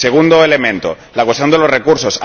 Segundo elemento la cuestión de los recursos.